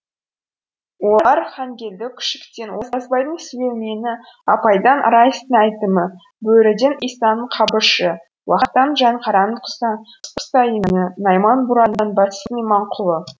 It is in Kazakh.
олар хангелді күшіктен оразбайдың сүлеймені апайдан раистың әйтімі бөріден исаның қабышы уақтан жаңқараның құсайыны найман бурадан бәтістің иманқұлы